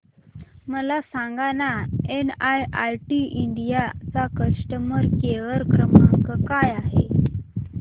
मला सांगाना NIIT India चा कस्टमर केअर क्रमांक काय आहे